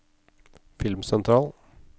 filmsentral